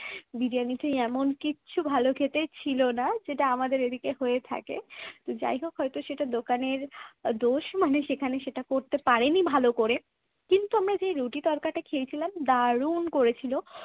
বিরিয়ানিতে এমন কিচ্ছু ভালো খেতে ছিল না যেটা আমাদের এদিকে হয়ে থাকে যাই হোক হয়ত সেটা দোকানের দোষ মানে সেখানে সেটা করতে পারেনি ভালো করে। কিন্তু আমরা যে রুটির তরকাটা খেয়েছিলাম দারুন করেছিল।